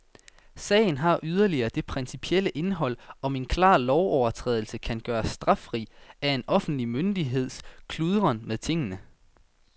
Sagen har yderligere det principielle indhold, om en klar lovovertrædelse kan gøres straffri af en offentlig myndigheds kludren med tingene.